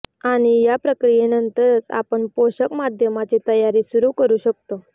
आणि या प्रक्रियेनंतरच आपण पोषक माध्यमाची तयारी सुरू करू शकता